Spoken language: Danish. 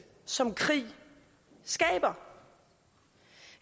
som krig skaber